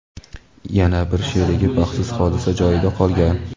Yana bir sherigi baxtsiz hodisa joyida qolgan.